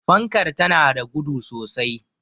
fankar tana da gudu sosai